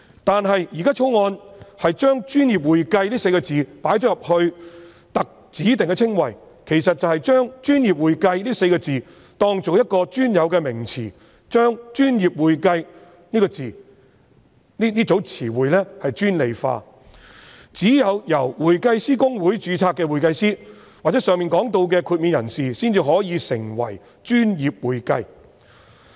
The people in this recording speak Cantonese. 但是，《條例草案》把"專業會計"列為指定稱謂，其實便是把"專業會計"視作一個專有名詞，把"專業會計"這名詞專利化，只有公會註冊的會計師或上述獲豁免的人士才可以成為"專業會計"。